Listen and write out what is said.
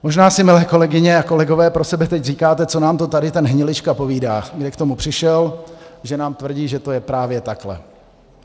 Možná si, milé kolegyně a kolegové, pro sebe teď říkáte, co nám to tady ten Hnilička povídá, kde k tomu přišel, že nám tvrdí, že to je právě takhle.